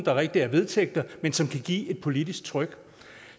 er rigtige vedtægter men som kan give et politisk tryk